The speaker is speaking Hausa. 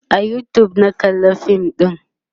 a YouTube na kalla fin ɗin